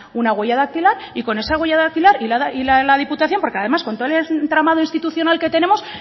una huella dactilar y con esa huella dactilar y la de la diputación porque además con todo el entramado institucional que tenemos